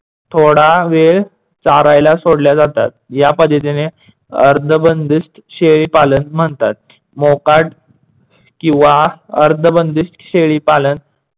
थोडा वेळ चारायला सोडल्या जातात. या पद्धतीने अर्धबंदिस्त शेळी पालन म्हणतात. मोकाट किंवा अर्धबंदिस्त शेळीपालन